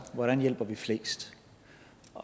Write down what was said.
hvordan hjælper vi flest